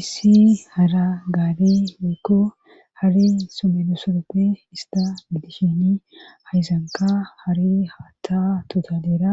issi hara gare woyikko hari somelosodoppe ista gidishini hayzanka hari haatta totalera